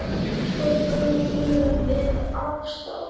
Svo brunum við af stað.